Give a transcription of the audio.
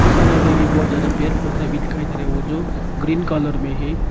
और सामने में भी बहुत ज्यादा पेड़ पौधा भी दिखाई दे रहा है वो जो ग्रीन कलर में है।